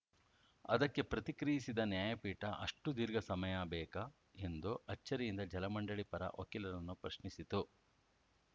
ಅದಕ್ಕೆ ಪ್ರತಿಕ್ರಿಯಿಸಿದ ನ್ಯಾಯಪೀಠ ಅಷ್ಟುದೀರ್ಘ ಸಮಯಬೇಕಾ ಎಂದು ಅಚ್ಚರಿಯಿಂದ ಜಲ ಮಂಡಳಿ ಪರ ವಕೀಲರನ್ನು ಪ್ರಶ್ನಿಸಿತು